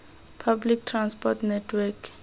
public transport network